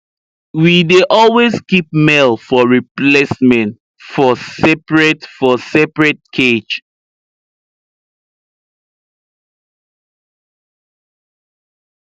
we dey always keep male for replacement for seperate for seperate cage